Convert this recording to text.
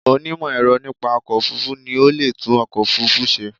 Onímọ̀ ẹ̀rọ nípa ọkọ̀ òfurufú ni o leè tún ọkọ̀ òfúrufú se